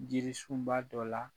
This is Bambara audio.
Jirisunba dɔ la